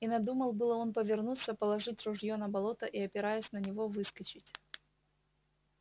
и надумал было он повернуться положить ружье на болото и опираясь на него выскочить